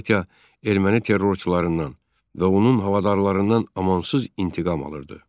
Partiya erməni terrorçularından və onun havadarlarından amansız intiqam alırdı.